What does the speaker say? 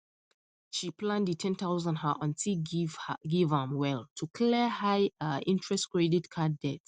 she plan the ten thousand her aunty give am well to clear high um interest credit card debt